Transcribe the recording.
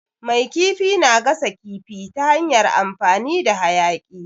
Mai kifi na gasa kifi ta hanyar amfani da hayaƙi.